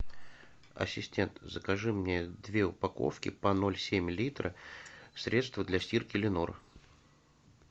ассистент закажи мне две упаковки по ноль семь литра средства для стирки ленор